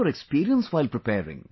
your experience while preparing